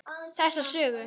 Þessa sögu.